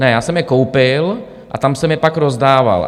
Ne, já jsem je koupil a tam jsem je pak rozdával.